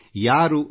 ಯಾರು ಡಾ